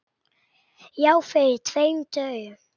Já, fyrir tveim dögum.